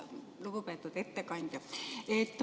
Lugupeetud ettekandja!